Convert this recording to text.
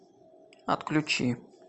отключи